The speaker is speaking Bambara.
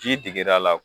Ji digir'a la